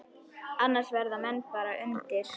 Annars verða menn bara undir.